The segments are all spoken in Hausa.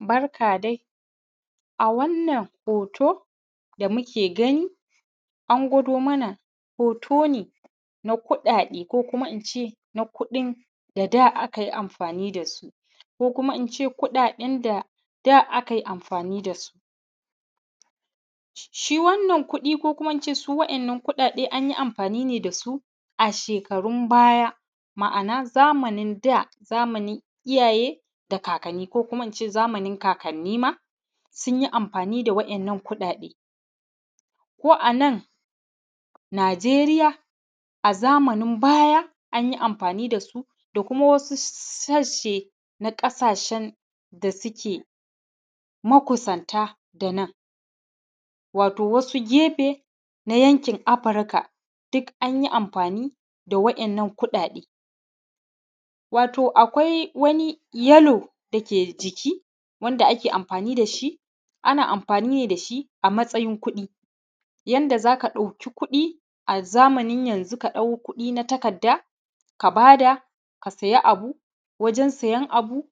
Barka dai a wannan hoto da muke gani an gwado mana hoto ne, na kuɗaɗe ko kuma in ce kuɗin da da akai amfani da su. ko kuma in ce kuɗaɗen da da akai amfani da su. Shi wannan kuɗi ko kuma in ce su waɗannan kuɗaɗen an yi amfani ne da su, a shekarun baya. ma’ana zamanin da, zamanin iyaye da kakanni ko kuma in ce zamanin kakanni ma. sun yi amfani da waɗannan kuɗaɗe. Ko a nan najeriya a zamanin baya an yi amfani da su, da kuma wasu sasshe na ƙasashen da suke makusanta da nan. Wato wasu gefe na yankin afirika duk an yi amfani da waɗannan kuɗaɗe. Wato akwai wani yalo dake jiki wanda ake amfani da shi, ana amfani da shi ne matsayin kuɗi, yanda za ka ɗauki kuɗi a zamanin yanzu ka ɗau kuɗi na takadda ka ba da ka saya abu, wajen sayan abu.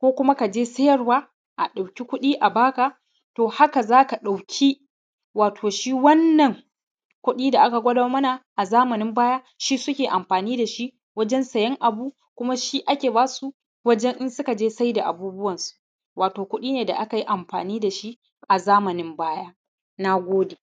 Ko kuma ka je sayarwa a ɗauki kuɗi a ba ka, to haka za ka ɗauki shi wannan kuɗi da aka gwado mana a zamanin baya, shi suke amfani da shi wajen sayan abu kuma shi ake ba su, wajen in suka je sai da abubuwansu. Wato kuɗi ne da akai amfani da shi a zamanin baya. Na gode.